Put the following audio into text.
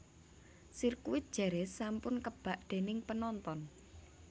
Sirkuit Jerez sampun kebak dening penonton